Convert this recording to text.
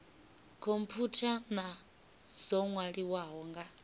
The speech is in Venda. khomphutha na dzo nwaliwaho nga